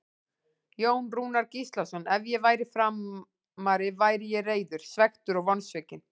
Jón Rúnar Gíslason Ef ég væri Framari væri ég reiður, svekktur og vonsvikinn.